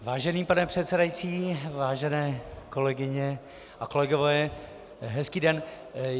Vážený pane předsedající, vážené kolegyně a kolegové, hezký den.